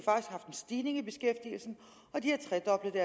stigning i beskæftigelsen og de har tredoblet